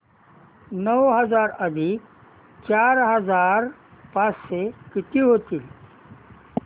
नऊ हजार अधिक चार हजार पाचशे किती होतील